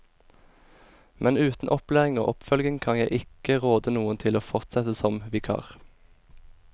Men uten opplæring og oppfølging kan jeg ikke råde noen til å fortsette som vikar.